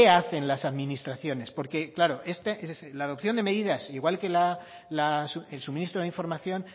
hacen las administraciones porque claro es decir la adopción de medidas igual que el suministro de información